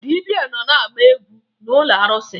Dibịa nọ na-agba egwu n'ụlọ arụsị